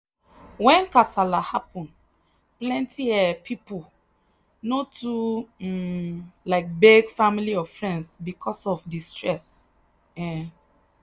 when kasala happen plenty um people no too um like beg family or friends because of the stress. um